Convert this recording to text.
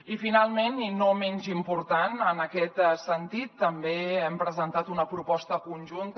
i finalment i no menys important en aquest sentit també hem presentat una proposta conjunta